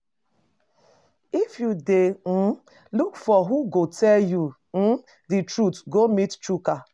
If you dey um look for who go tell you um the truth go meet Chuka.